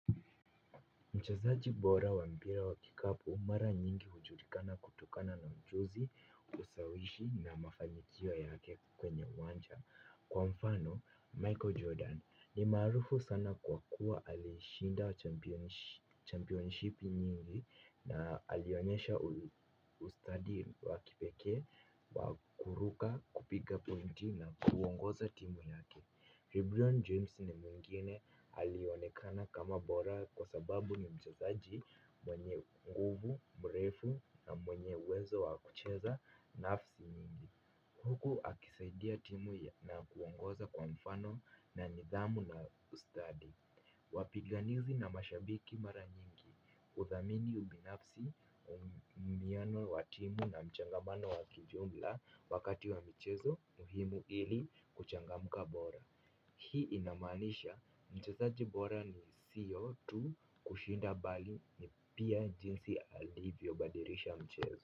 Mchezaji bora wa mpira wa kikapu mara nyingi hujulikana kutokana na mchuzi, ushawishi na mafanikio yake kwenye uwanja. Kwa mfano, Michael Jordan ni marufu sana kwa kuwa alishinda championship nyingi na alionyesha ustadi wa kipekee, wa kuruka kupiga point na kuongoza timu yake. Vibrian James ni mwingine alionekana kama bora kwa sababu ni mchezaji mwenye nguvu, mrefu na mwenye uwezo wa kucheza nafasi mingi. Huku akisaidia timu na kuongoza kwa mfano na nidhamu na ustadi. Wapiganizi na mashabiki mara nyingi. Uzamini ubinafsi uwiano wa timu na mchangamano wa kijumla wakati wa mchezo muhimu ili kuchangamka bora. Hii inamaanisha, mchezaji bora ni siyo tu kushinda bali ni pia jinsi alivyo badirisha mchezo.